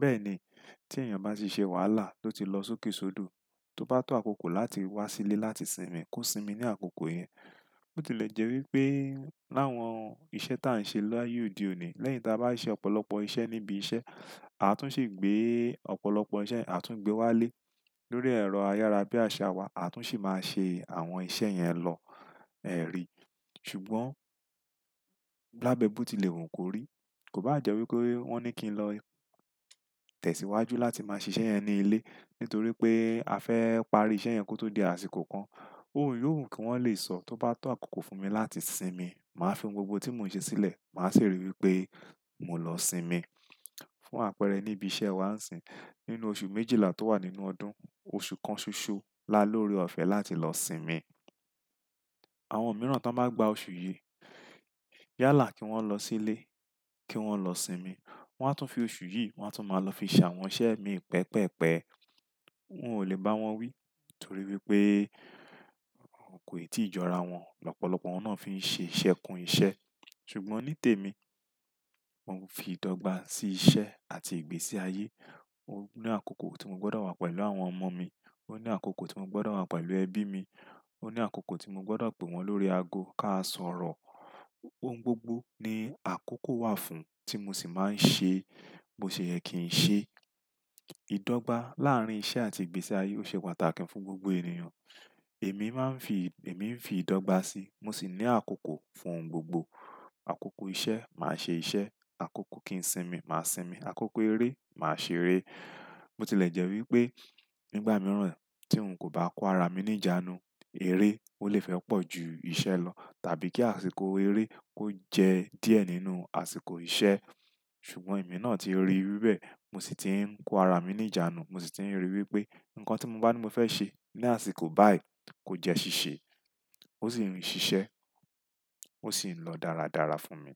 Bẹ́ẹ̀ ni tí èèyàn bá ṣi ṣe wàhálà tó ti lọ sókèsódò, tó bá tó àkókò láti wá sílé láti sinmi, kó sinmi ní àkókò yẹn. Bó ti lè jẹ́ wí pé láwọn iṣẹ́ tí à ń ṣe láyé òde òní, lẹ́yìn tí a bá ṣe ọ̀pọ̀lọpọ̀ iṣẹ́ níbi iṣẹ́, àtún ṣe gbé ọ̀pọ̀lọpọ̀ iṣẹ́ àtún gbé wá lé lórí ẹ̀rọ ayárabiaṣa wa, àtún sì máa ṣe àwọn iṣẹ́ yẹn lọ ẹ̀rí. Ṣùgbọ́n labẹ bó ti lè wù kó rí. Kò bá jẹ́ wí pé wọ́n ní kí n lọ tẹ̀síwájú láti máa ṣe iṣẹ́ yẹn ní ilé nítorí pé a fẹ́ parí iṣẹ́ yẹn kó tó di àsìkò kan. Óun yóò wù kí wọ́n lè sọ tó bá tó àkókò fún mi láti sinmi. Màá fi ohun gbogbo tí mò ń ṣe sílẹ̀, màá sì ríi wí pé mò ń lọ sinmi. Fún àpẹẹrẹ níbi iṣẹ́ wàá ń sin, nínú oṣù méjìlá tó wà nínú ọdún, oṣù kan ṣoṣo lá lóri ọ̀fẹ́ láti lọ sinmi. Àwọn mìíràn tó bá gba oṣù yìí, yálà kí wọ́n lọ sílé, kí wọ́n lọ sinmi. Wọ́n á tún fi oṣù yìí, wọ́n á tún máa lọ fi ṣàwọn iṣẹ́ mi pẹ́ pẹ́ pẹ́. N ò lè bá wọn wí torí wípé kò ì tí ì jọra wọn. Lọpọ̀lọpọ̀ wọn náà fi ń ṣe ìṣe kún ìṣe. Ṣùgbọ́n ní tèmi, mo ń fi ìdọ́gba sí iṣẹ́ àti ìgbésí ayé. Mo ní àkókò tí mo gbọ́dọ̀ wà pẹ̀lú àwọn ọmọ mi. O ní àkókò tí mo gbọ́dọ̀ wà pẹ̀lú ẹbí mi. O ní àkókò tí mo gbọ́dọ̀ pè wọ́n lórí ago ká sọ̀rọ̀. Ohun gbogbo ní àkókò wà fún tí mo sì máa ń ṣe, bo ṣe yẹ kí n ṣe. Ìdọ́gba láàárín iṣẹ́ àti ìgbésí ayé ó ṣe pàtàkì fún gbogbo ènìyàn. Èmi máa ń fi, èmi ń fi ìdọ́gba sí, mo sì ní àkókò fún ohun gbogbo. Àkókò iṣẹ́ máa ṣe iṣẹ́, àkókò kí n sinmi máa sinmi, àkókò eré máa ṣeré. Bo ti lè jẹ́ wí pé nígbà mìíràn tí n kò bá kó ara mi ní ìjánu, eré ó lè fẹ́ pọ̀ ju iṣẹ́ lọ tàbí kí àsìkò eré kó jẹ́ díẹ̀ nínú àsìkò iṣẹ́. Ṣùgbọ́n èmi náà ti ríi wí bẹ́ẹ̀, mo sì ti ń kó ara mi ní ìjánu. Mo sì ti ń ríi wí pé nǹkan tí mo bá ní mo fẹ́ ṣe ní àsìkò báyìí kó jẹ́ ṣíṣe, ó sì ń ṣiṣẹ́, ó sì ń lọ dáradára fún mi.